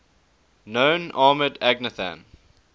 known armoured agnathan